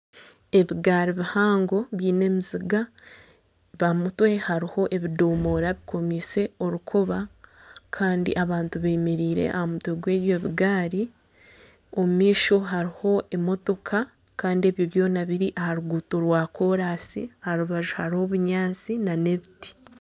Ebigaari bihango biine emiziga aha mutwe hariho ebidomora bikomiise orukoba Kandi abantu bemereire aha mutwe gw'ebyo bigaari omumaisho hariho emotoka Kandi ebyo byona biri aha ruguuto rwa kolansi aharubaju hariho obunyatsi nana ebiti